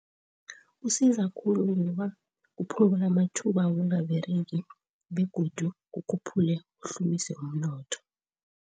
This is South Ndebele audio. Kusiza khulu ngoba kuphungula amathuba wokungaberegi begodu kukhuphula kuhlumise umnotho.